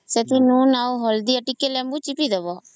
ସେଥିରେ ଲୁଣ ଆଉ ହଳଦୀ କିରି ଟିକେ ଲେମ୍ବୁ ଚିପି ଦବ